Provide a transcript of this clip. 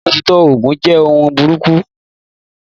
Ni òtítọ́, ogun jẹ́ ohun búburú.